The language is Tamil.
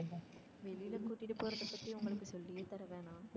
வெளில கூட்டிட்டு போறத பத்தி உங்களுக்கு சொல்லியே தர வேணாம்.